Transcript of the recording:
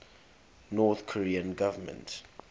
north korean government